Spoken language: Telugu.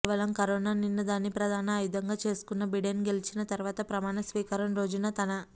కేవలం కరోనా నిన్నదాన్ని ప్రధాన ఆయుధంగా చేసుకున్న బిడెన్ గెలిచిన తరువాత ప్రమాణ స్వీకారం రోజున తన